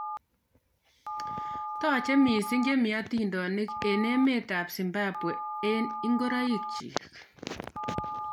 Taache misssing chemitindoinik ing emet ab zimbabwe ing ingoroik chik.